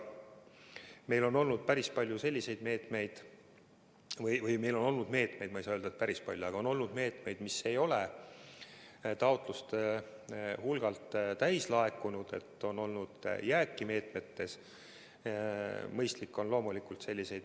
Meil on olnud päris palju selliseid meetmeid – ma ei saa öelda, et päris palju, aga on olnud meetmeid –, mille kohta ei ole piisavalt taotlusi laekunud ja on tekkinud jääk.